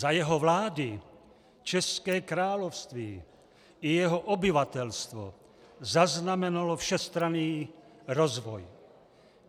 Za jeho vlády české království i jeho obyvatelstvo zaznamenalo všestranný rozvoj.